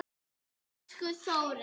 Elsku Þórey.